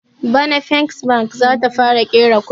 Bana first bank zata fara ƙera kuɗi